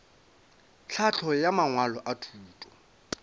tlhahlo ya mangwalo a thuto